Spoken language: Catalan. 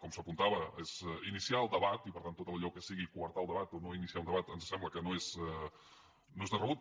com s’apuntava és iniciar el debat i per tant tot allò que sigui coartar el debat o no iniciar un debat ens sembla que no és de rebut